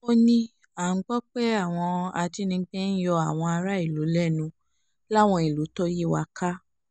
ó ní à ń gbọ́ pé àwọn ajínigbé ń yọ yọ àwọn aráàlú lẹ́nu láwọn ìlú tó yí wa ká